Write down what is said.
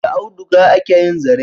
Da auduga ake yin zare.